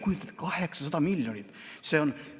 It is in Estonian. Kujutate ette, 800 miljonit!